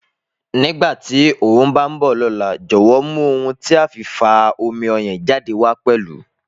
Nígbàtí ọ bá nbọ lóla, jowo mú ohun tí a fin fa omi ọyàn jade wá pẹlù